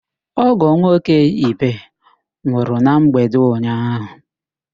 Ọ́gọ̀ nwoke Ibe nwụrụ na mgbede ụnyaahụ.